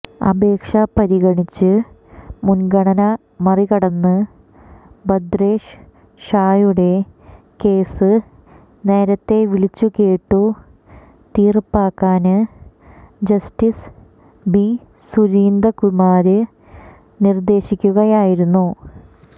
അപേക്ഷ പരിഗണിച്ച് മുന്ഗണന മറികടന്ന് ഭദ്രേഷ് ഷായുടെ കേസ് നേരത്തെ വിളിച്ചുകേട്ടു തീര്പ്പാക്കാന് ജസ്റ്റിസ് ബി സുധീന്ദ്രകുമാര് നിര്ദേശിക്കുകയായിരുന്നു